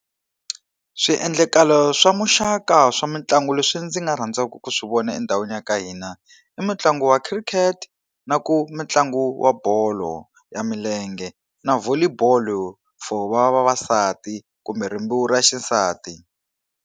Swiendlakalo swa muxaka swa mitlangu leswi ndzi nga rhandzaka ku swi vona endhawini ya ka hina, i mitlangu ya khirikhete, na ku mitlangu wa bolo ya milenge, na volley ball for vavasati kumbe rimbewu ra xisati.